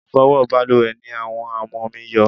Ifowo baluwe ni àwọn amomi yo